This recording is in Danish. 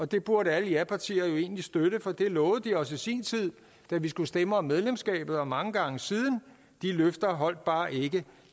det burde alle japartier jo egentlig støtte for det lovede de os i sin tid da vi skulle stemme om medlemskabet og mange gange siden de løfter holdt bare ikke